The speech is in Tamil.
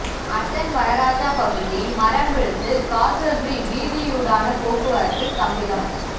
அட்டன் வனராஜா பகுதியில் மரம் வீழ்ந்து காசல்ரி வீதியூடான போக்குவரத்து ஸ்தம்பிதம்